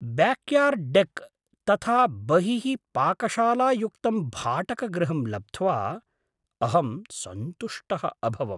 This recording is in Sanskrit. ब्याक्यार्ड् डेक् तथा बहिः पाकशालायुक्तं भाटकगृहं लब्ध्वा अहं सन्तुष्टः अभवम्।